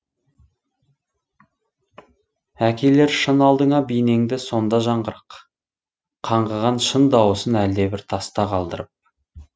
әкелер шын алдыңа бейнеңді сонда жаңғырық қаңғыған шын дауысын әлдебір таста қалдырып